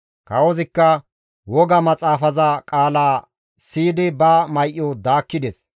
Kawozikka woga maxaafaza qaala siyidi ba may7o daakkides.